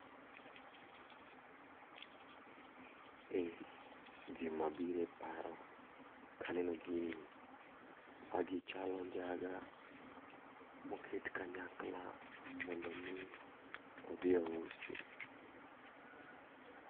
E, gima biro e paro ka aneno gini, magi chalo njaga ma oket kanyakla mondo omi odhi ousi.